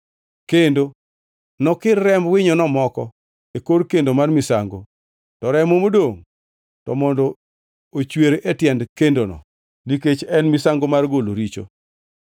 kendo nokir remb winyono moko e kor kendo mar misango, to remo modongʼ to mondo ochwer e tiend kendono, nikech en misango mar golo richo.